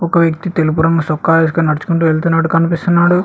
ఒక వ్యక్తి తెలుపు రంగు సొక్కా ఏసుకొని నడుచుకుంటూ వెళ్తున్నట్టు కనిపిస్తున్నాడు.